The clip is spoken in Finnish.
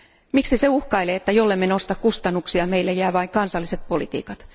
Miksi se uhkailee, että jollemme nosta kustannuksia, meille jää vain kansalliset politiikat?